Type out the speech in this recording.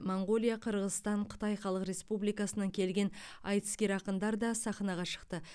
моңғолия қырғызстан қытай халық республикасынан келген айтыскер ақындар да сахнаға шықты